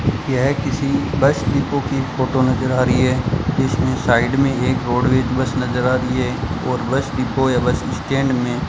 यह किसी bus depot की फोटो नजर आ रही है इसमें साइड में एक रोडवेज बस नजर आ रही है और बस डिपो या बस स्टैंड में --